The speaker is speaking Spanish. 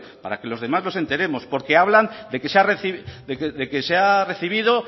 para que los demás nos enteremos porque hablan de que se ha recibido